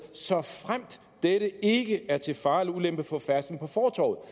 såfremt dette ikke er til fare eller ulempe for færdslen på fortovet